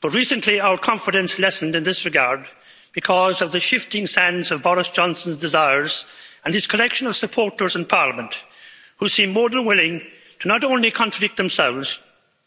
But recently our confidence lessened in this regard because of the shifting sands of Boris Johnson's desires and his collection of supporters in parliament who seem more than willing to not only contradict themselves,